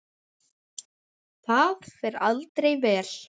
Það fer aldrei vel.